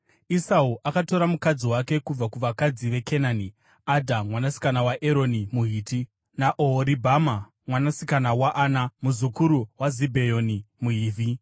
Esau akatora mukadzi wake kubva kuvakadzi veKenani: Adha mwanasikana waEroni muHiti, naOhoribhama mwanasikana waAna, muzukuru waZibheoni muHivhi,